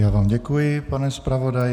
Já vám děkuji, pane zpravodaji.